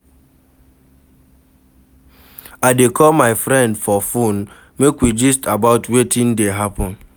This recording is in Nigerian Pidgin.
I dey call my friend for fone, make we gist about wetin dey happen.